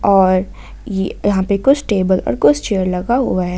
और ये यहां पे कुछ टेबल और कुछ चेयर लगा हुआ है।